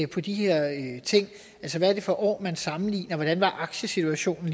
på de her ting hvad er det for år man sammenligner hvordan var aktiesituationen